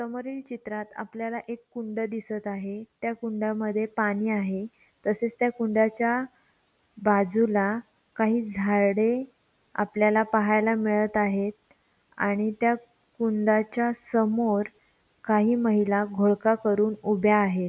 समोरील चित्रात आपल्याला एक कुंड दिसत आहे. त्या कुंडामध्ये पाणी आहे. तसेच त्या कुंडाच्या बाजूला काही झाडे आपल्याला पाहायला मिळत आहे. आणि त्या कुंडाच्या समोर काही महिला घोळका करून उभ्या आहेत.